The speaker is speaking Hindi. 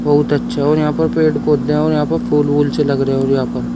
बहुत अच्छे और यहां पर पेड़ पौधे और यहां पर फूल से लग रहे हैं और यहां पर--